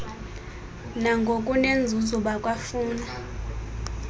nangokunenzuzo bakwa funa